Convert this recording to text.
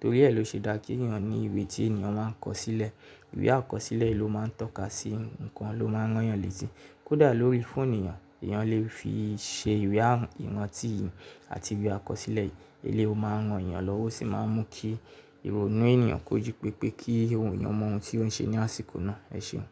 torí ẹ ló ṣe dá kí ènìyàn ní ìwé tí ènìyàn máa ń kọ sílẹ̀. Ìwé a kọ sílẹ̀ ló máa ń tọ́ka sí nǹkan ló máa ń rán yàn létí. Kódà lórí fóònù nìyàn, èèyàn lè fi ṣe ìwé ìrántí àti ìwé a kọ sílẹ̀. Eléyi máa ń ràn yàn lọ́wọ́ osì máa ń mú kí ìrònú ènìyàn kó ji pépé kí òun eeyàn mọ ohun tí ó ń ṣe ní àsìkò náà. Ẹ ṣeun.